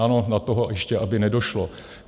Ano, na toho ještě aby nedošlo!